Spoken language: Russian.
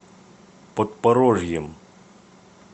подпорожьем